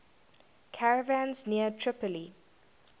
caravans near tripoli